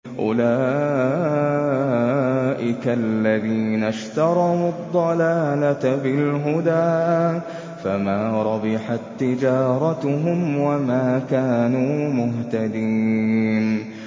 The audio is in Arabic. أُولَٰئِكَ الَّذِينَ اشْتَرَوُا الضَّلَالَةَ بِالْهُدَىٰ فَمَا رَبِحَت تِّجَارَتُهُمْ وَمَا كَانُوا مُهْتَدِينَ